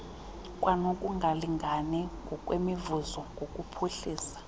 kwanokungalingani ngokwemivuzo ngokuphuhlisa